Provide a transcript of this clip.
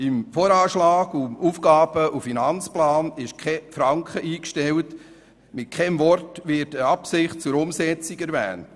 Im Voranschlag und im Aufgaben- und Finanzplan ist kein Franken eingestellt, und mit keinem Wort wird eine Absicht zur Umsetzung erwähnt.